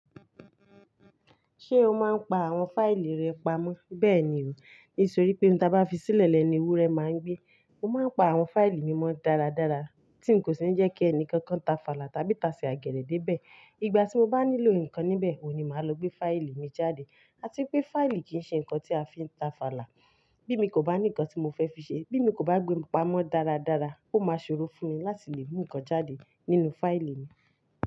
Ṣé o máa ń pa àwọn fáìlì rẹ pamọ́? Bẹ́ẹ̀ni o, nítorí pé ohun tí a bá fi sílẹ̀ lẹ́nu ewúrẹ́ máa ń gbé. Mo máa ń pa àwọn fáìlì mi mọ́ dáradára tí n kò ṣì ní jẹ́ kí ẹnìkankan táfàlà tàbí tasẹ̀ àgẹ̀rẹ̀ dé bẹ̀. Igbà tí mo bá nílò nǹkan níbẹ̀, òn ní màá lo gbé fáìlì mi jáde. Atipé fáìlì kì í ṣe nǹkan tí a fi ń táfàlà. Bí mi kò bá ní nǹkan tí mo fẹ́ fi ṣe, bí mi kò bá gbé wọn pamọ́ dáradára, ó máa ṣorú fún mi láti lè mú nǹkan jáde nínú fáìlì mi.